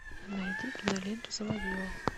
найди киноленту заводила